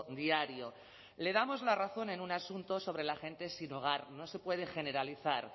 diario le damos la razón en un asunto sobre la gente sin hogar no se puede generalizar